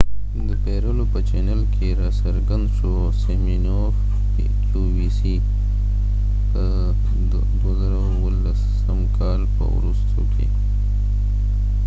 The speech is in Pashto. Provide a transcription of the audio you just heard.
د 2017 کال په وروستیو کې سیمینوف د qvc د پیرلو په چینل کې را څرګند شو